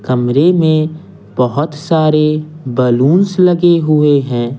कमरे में बहुत सारे बैलूंस लगे हुए हैं।